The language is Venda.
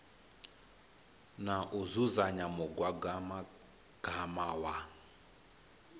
na u dzudzanya mugaganyagwama wa